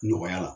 Nɔgɔya la